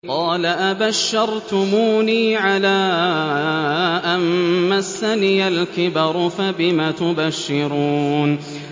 قَالَ أَبَشَّرْتُمُونِي عَلَىٰ أَن مَّسَّنِيَ الْكِبَرُ فَبِمَ تُبَشِّرُونَ